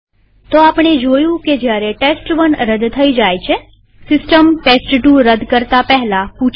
તો આપણે જોયું કે જયારે ટેસ્ટ1 રદ થાય છેસિસ્ટમ ટેસ્ટ2 રદ કરતા પહેલા પૂછે છે